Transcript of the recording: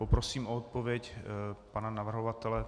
Poprosím o odpověď pana navrhovatele.